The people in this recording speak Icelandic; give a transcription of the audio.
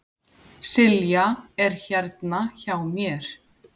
Silja er hérna hjá mér.